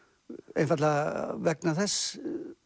einfaldlega vegna þess